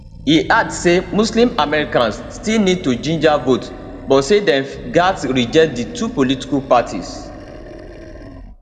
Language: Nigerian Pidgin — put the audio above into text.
e add say muslim americans still need to ginger vote but say dem gatz reject di two political parties